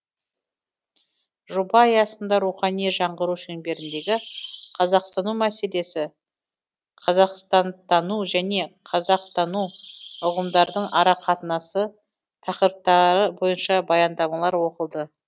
жоба аясында рухани жаңғыру шеңберіндегі қазақстану мәселесі қазақстантану және қазақтану ұғымдардың арақатынасы тақырыптары бойынша баяндамалар оқылды